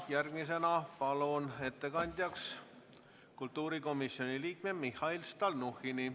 Järgmisena palun ettekandjaks kultuurikomisjoni liikme Mihhail Stalnuhhini.